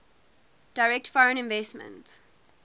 direct foreign investment